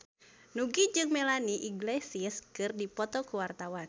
Nugie jeung Melanie Iglesias keur dipoto ku wartawan